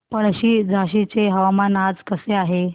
पळशी झाशीचे हवामान आज कसे आहे